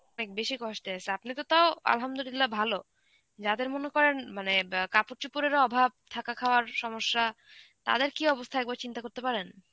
অনেক বেশি কষ্টে আছে. আপনি তো তাও Arbi ভালো. যাদের মনে করেন মানে অ্যাঁ কাপড় চোপড়েরও অভাব, থাকা খাওয়ার সমস্যা. তাদের কী অবস্থা একবার চিন্তা করতে পারেন?